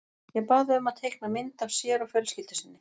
Ég bað þau um að teikna mynd af sér og fjölskyldu sinni.